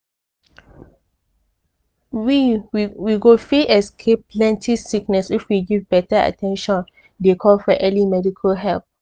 we we go fit escape plenty sickness if we give beta at ten tion dey call for early medical help.